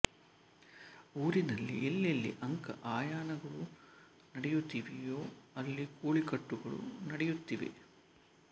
ಊರಿನಲ್ಲಿ ಎಲ್ಲೆಲ್ಲಿ ಅಂಕ ಆಯನಗಳು ನಡೆಯುತ್ತಿವೆಯೋ ಅಲ್ಲಿ ಕೋಳಿಕಟ್ಟಗಳೂ ನಡೆಯುತ್ತಿವೆ